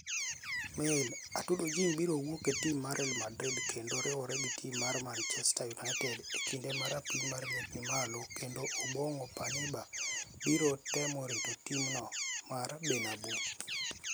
(Mail)Atudo jim biro wuok e tim mar Real Madrid kenido riwore gi tim mar Manichester Uniited ekinid ma rapim mar liet nii malo kenido Obonigo paniba biro temo rito tim no mar Berniabeu.